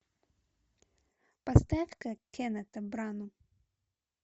поставь ка кеннета брану